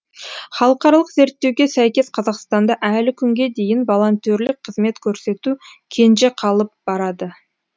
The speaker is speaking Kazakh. халықаралық зерттеуге сәйкес қазақстанда әлі күнге дейін волонтерлік қызмет көрсету кенже қалып барады